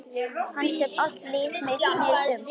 Hans sem allt líf mitt snerist um.